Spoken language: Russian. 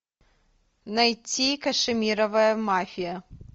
найти кашемировая мафия